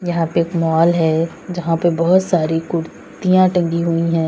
यहां पे एक माल है जहां पे बहुत सारी कुर्तियां टंगी हुई हैं।